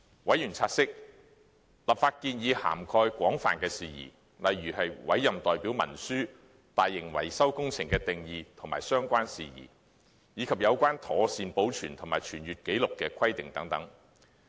委員察悉立法建議涵蓋廣泛的事宜，例如委任代表文書、"大型維修工程"的定義及相關事宜，以及有關妥善保存和傳閱紀錄的規定等。